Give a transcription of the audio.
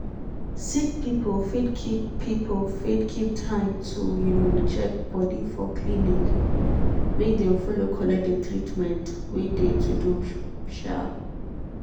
sick people fit keep people fit keep time to um check body for clinic make dem follow collect de treatment wey de to do. um